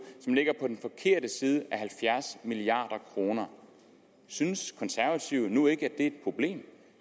som ligger på den forkerte side af halvfjerds milliard kroner synes de konservative nu ikke at er et problem